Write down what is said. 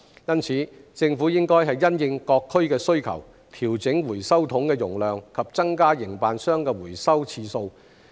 因此，政府應因應各區的需求，調整回收桶的容量及增加營辦商的回收次數。